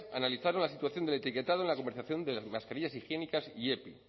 analizaron la situación del etiquetado en la comercialización de las mascarillas higiénicas y epi